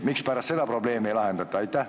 Mispärast halli passi probleemi ei lahendata?